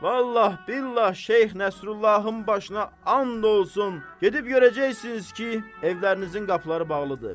Vallah billah Şeyx Nəsrullahın başına and olsun, gedib görəcəksiniz ki, evlərinizin qapıları bağlıdır.